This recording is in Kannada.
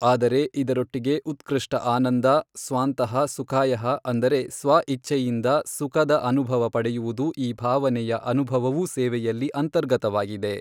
ಆದರೆ ಇದರೊಟ್ಟಿಗೆ ಉತ್ಕೃಷ್ಟ ಆನಂದ, ಸ್ವಾಂತಃ ಸುಖಾಯಃ ಅಂದರೆ ಸ್ವ ಇಚ್ಛೆಯಿಂದ ಸುಖದ ಅನುಭವ ಪಡೆಯುವುದು ಈ ಭಾವನೆಯ ಅನುಭವವವೂ ಸೇವೆಯಲ್ಲಿ ಅಂತರ್ಗತವಾಗಿದೆ.